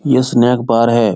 यह snack bar है।